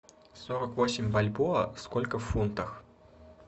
сорок восемь бальбоа сколько в фунтах